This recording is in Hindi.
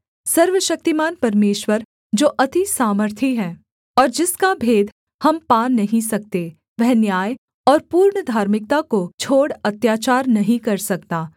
सर्वशक्तिमान परमेश्वर जो अति सामर्थी है और जिसका भेद हम पा नहीं सकते वह न्याय और पूर्ण धार्मिकता को छोड़ अत्याचार नहीं कर सकता